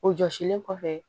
O jɔsilen kɔfɛ